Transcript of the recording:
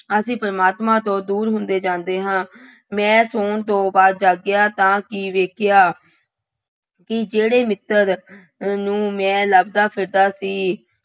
ਅਸੀਂ ਪ੍ਰਮਾਤਮਾ ਤੋਂ ਦੂਰ ਹੁੰਦੇ ਜਾਂਦੇ ਹਾਂ। ਮੈਂ, ਤੂੰ ਦੋ ਵਾਰ ਜਾਗਿਆ ਤਾਂ ਕੀ ਵੇਖਿਆ ਕਿ ਜਿਹੜੇ ਮਿੱਤਰ ਨੂੰ ਮੈਂ ਲੱਭਦਾ ਫਿਰਦਾ ਸੀ,